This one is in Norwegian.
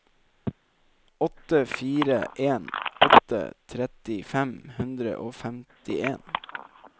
åtte fire en åtte tretti fem hundre og femtien